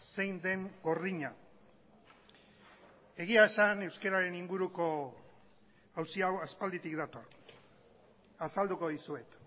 zein den gordina egia esan euskararen inguruko auzi hau aspalditik dator azalduko dizuet